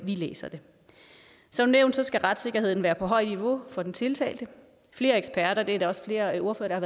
vi læser det som nævnt skal retssikkerheden være på højt niveau for den tiltalte flere eksperter og det er der også flere ordførere